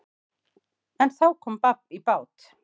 En þá kom babb í bát.